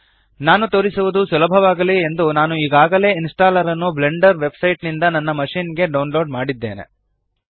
ಮಾಡಿ ತೋರಿಸುವದು ಸುಲಭವಾಗಲಿ ಎಂದು ನಾನು ಈಗಾಗಲೆ ಇನ್ಸ್ಟಾಲ್ಲರ್ ನ್ನು ಬ್ಲೆಂಡರ್ ವೆಬ್ಸೈಟ್ ನಿಂದ ನನ್ನ ಮಶಿನ್ ಗೆ ಡೌನ್ಲೋಡ್ ಮಾಡಿದ್ದೇನೆ